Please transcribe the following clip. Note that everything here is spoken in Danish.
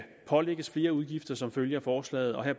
pålægges flere udgifter som følge af forslaget og her